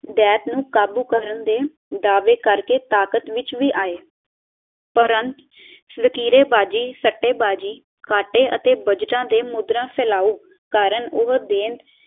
ਦੈਂਤ ਨੂੰ ਕਾਬੂ ਕਰਨ ਦੇ ਦਾਵੇ ਕਰ ਕੇ ਤਾਕਤ ਵਿੱਚ ਵੀ ਆਏ ਉਪਰੰਤ ਵਤੀਰੇਬਾਜ਼ੀ, ਸੱਟੇਬਾਜ਼ੀ ਕਾਟੇ ਅਤੇ ਬੱਜਟਾ ਦੇ ਮੁੰਦ੍ਰਾ ਫਲਾਉ ਕਾਰਨ ਉਹ ਦੈਂਤ